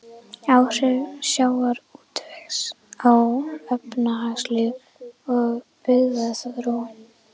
Áhrif sjávarútvegs á efnahagslíf og byggðaþróun.